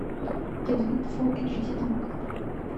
кинолента фул эйч ди на окко